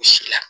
U si la